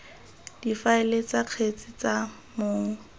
difaele tsa kgetse tsa mong